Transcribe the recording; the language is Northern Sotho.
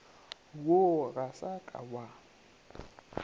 wo ga sa ka wa